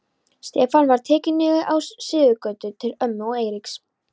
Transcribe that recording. Stefnan var tekin niður á Suðurgötu til ömmu og Eiríks.